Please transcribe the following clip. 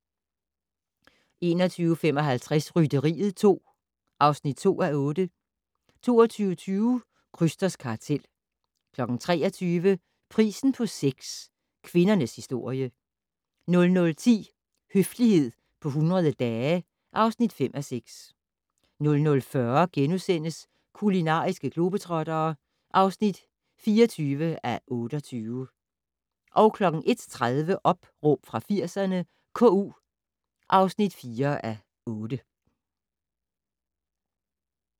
21:55: Rytteriet 2 (2:8) 22:20: Krysters kartel 23:00: Prisen på sex - kvindernes historie 00:10: Høflighed på 100 dage (5:6) 00:40: Kulinariske globetrottere (24:28)* 01:30: Opråb fra 80'erne - KU (4:8)